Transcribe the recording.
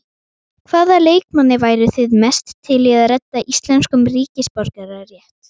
Hvaða leikmanni væru þið mest til að redda íslenskum ríkisborgararétt?